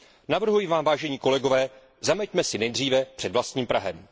Navrhuji vám, vážení kolegové, zameťme si nejdříve před vlastním prahem.